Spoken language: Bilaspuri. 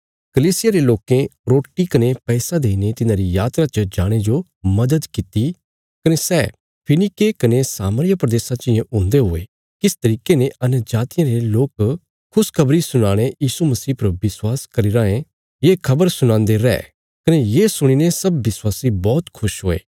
कलीसिया रे लोकें रोटी कने पैसा देईने तिन्हांरी यात्रा च जाणे जो मदद कित्ती कने सै फीनीके कने सामरिया प्रदेशा चियें हुंदे हुये किस तरिके ने अन्यजातियां रे लोक खुशखबरी सुणीने यीशु मसीह पर विश्वास करी राँये ये खबर सुणान्दे रै कने ये सुणीने सब विश्वासी बौहत खुश हुये